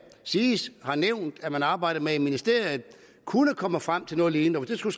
det siges har nævnt at man arbejder med i ministeriet kunne komme frem til noget lignende